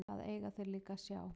Hvað eiga þeir líka að sjá?